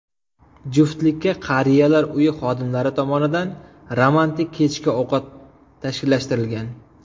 Juftlikka qariyalar uyi xodimlari tomonidan romantik kechki ovqat tashkillashtirilgan.